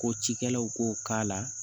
Ko cikɛlaw k'o k'a la